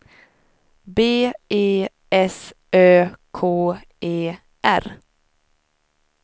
B E S Ö K E R